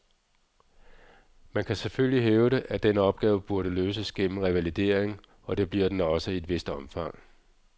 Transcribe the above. Man kan selvfølgelig hævde, at den opgave burde løses gennem revalidering, og det bliver den også i et vist omfang.